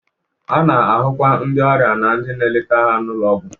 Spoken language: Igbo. A na-ahụkwa ndị ọrịa na ndị na-eleta ha n'ụlọ ọgwụ.